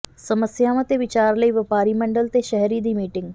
ਸਮੱਸਿਆਵਾਂ ਤੇ ਵਿਚਾਰ ਲਈ ਵਪਾਰ ਮੰਡਲ ਤੇ ਸ਼ਹਿਰੀ ਦੀ ਮੀਟਿੰਗ